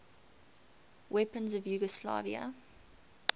weapons of yugoslavia